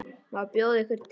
Má bjóða yður te?